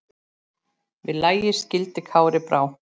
Við lagi skildi Kári brá.